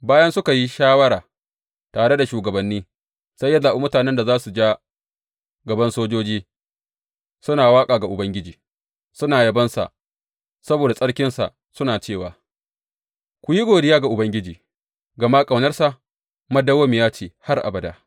Bayan suka yi shawara tare da shugabanni, sai ya zaɓi mutanen da za su ja gaban sojoji suna waƙa ga Ubangiji suna yabonsa saboda tsarkinsa suna cewa, Ku yi godiya ga Ubangiji, gama ƙaunarsa dawwammamiya ce har abada.